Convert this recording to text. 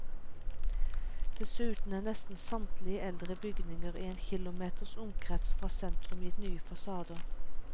Dessuten er nesten samtlige eldre bygninger i en kilometers omkrets fra sentrum gitt nye fasader.